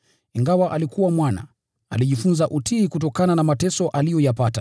Ingawa alikuwa Mwana, alijifunza utiifu kutokana na mateso aliyoyapata,